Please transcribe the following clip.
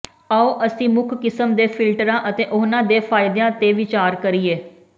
ਆਉ ਅਸੀਂ ਮੁੱਖ ਕਿਸਮ ਦੇ ਫਿਲਟਰਾਂ ਅਤੇ ਉਹਨਾਂ ਦੇ ਫਾਇਦਿਆਂ ਤੇ ਵਿਚਾਰ ਕਰੀਏ